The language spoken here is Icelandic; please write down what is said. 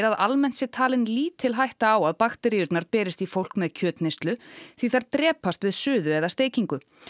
að almennt sé talin lítil hætta á að bakteríurnar berist í fólk með kjötneyslu því þær drepast við suðu eða steikingu